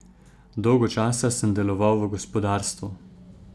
Dolgo časa sem deloval v gospodarstvu.